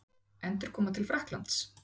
Endurkoma til Frakklands?